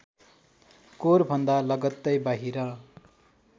कोरभन्दा लगत्तै बाहिर